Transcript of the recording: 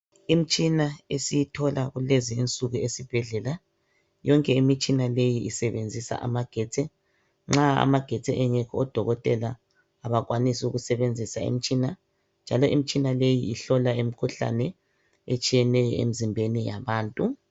Imitshina esiyithola kulezinsuku esibhedlela yonke imitshina leyi isebenzisa amagetsi nxa amagetsi engekho odokotela abakwanisi ukusebenzisa njalo imtshina ihlola imkhuhlane etshiyeneyo emzimbeni yabantu